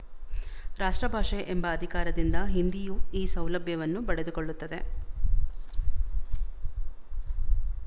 ರಾಷ್ಟ್ರಭಾಷೆ ಎಂಬ ಅಧಿಕಾರದಿಂದ ಹಿಂದಿಯೂ ಈ ಸೌಲಭ್ಯವನ್ನು ಪಡೆದುಕೊಳ್ಳುತ್ತದೆ